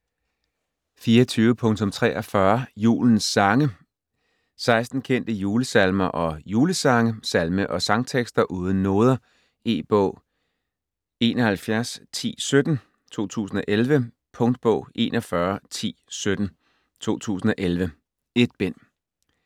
24.43 Julens sange 16 kendte julesalmer og julesange. Salme- og sangtekster uden noder. E-bog 711017 2011. Punktbog 411017 2011. 1 bind.